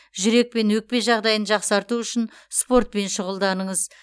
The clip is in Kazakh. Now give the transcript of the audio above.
жүрек пен өкпе жағдайын жақсарту үшін спортпен шұғылданыңыз